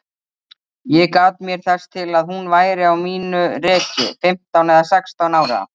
Ég gat mér þess til að hún væri á mínu reki, fimmtán eða sextán ára.